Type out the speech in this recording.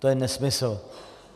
To je nesmysl.